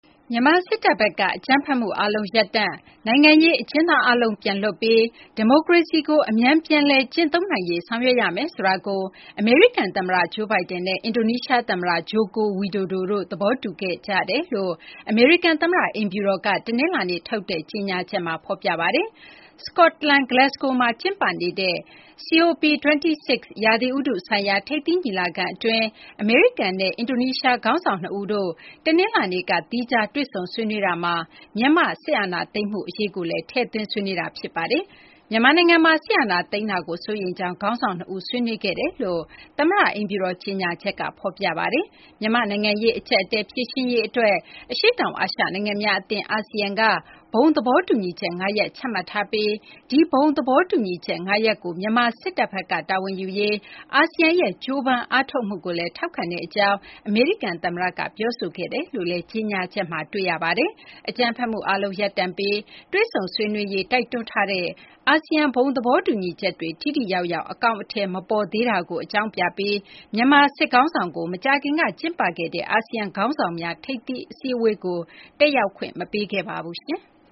မြန်မာ စစ်တပ်ဘက်က အကြမ်းဖက်မှု အားလုံး ရပ်တန့်၊ နိုင်ငံရေး အကျဉ်းသား အားလုံး ပြန်လွှတ်ပြီး ဒီမိုကရေစီကို အမြန် ပြန်လည် ကျင့်သုံးနိုင်ရေး ဆောင်ရွက်ရမယ်ဆိုတာကို အမေရိကန် သမ္မတ Joe Biden နဲ့ အင်ဒိုနီးရှား သမ္မတ Joko Widodo တို့ သဘောတူခဲ့ကြောင်း အမေရိကန် သမ္မတ အိမ်ဖြူတော်က တနလာၤနေ့ထုတ်တဲ့ ကြေညာချက်မှာ ဖော်ပြပါတယ်။ စကော့တလန် Glasgow မြို့မှာ ကျင်းပနေတဲ့ COP26 ရာသီဥတု ဆိုင်ရာ ထိပ်သီး ညီလာခံ အတွင်း အမေရိကန်နဲ့ အင်ဒိုနီးရှား ခေါင်းဆောင် နှစ်ဦးတို့ တနလာၤနေ့က သီးခြားတွေ့ဆုံ ဆွေးနွေးကြတာမှာ မြန်မာ့ စစ်အာဏာသိမ်းမှု အရေးကိုလည်း ထည့်သွင်း ဆွေးနွေးခဲ့ကြတာ ဖြစ်ပါတယ်။ မြန်မာနိုင်ငံမှာ စစ်အာဏာသိမ်းမှုကို စိုးရိမ်ကြောင်း ခေါင်းဆောင် နှစ်ဦး ဆွေးနွေးခဲ့ကြကြောင်း အမေရိကန် သမ္မတ အိမ်ဖြူတော် ကြေညာချက်မှာ ဖော်ပြပါတယ်။ မြန်မာ့ နိုင်ငံရေး အကြပ်အတည်း ဖြေရှင်းရေး အတွက် အရှေ့တောင် အာရှ နိုင်ငံများ အသင်း အာဆီယံက ဘုံသဘောတူညီချက် ၅ ရပ် ချမှတ်ထားရှိပြီး ဒီ ဘုံသဘောတူညီချက် ၅ ရပ်ကို မြန်မာ စစ်တပ်ဘက်က တာဝန်ယူရေး အာဆီယံရဲ့ ကြိုးပမ်းအားထုတ်မှုကိုလည်း ထောက်ခံကြောင်း အမေရိကန် သမ္မတ Biden က ပြောဆိုခဲ့တယ်လို့လည်း ကြေညာချက်မှာ ဖော်ပြပါတယ်။ အကြမ်းဖက်မှုအားလုံး ရပ်တန့်ပြီး တွေ့ဆုံဆွေးနွေးရေး တိုက်တွန်းထားတဲ့ အာဆီယံ ဘုံသဘောတူညီချက်တွေ ထိထိရောက်ရောက် အကောင်အထည် မပေါ်သေးတာကို အကြောင်းပြပြီး မြန်မာ စစ်ခေါင်းဆောင်ကို မကြာခင်က ကျင်းပခဲ့တဲ့ အာဆီယံ ခေါင်းဆောင်များ ထိပ်သီး စည်းဝေးပွဲကို တက်ရောက်ခွင့် မပေးခဲ့ပါဘူး။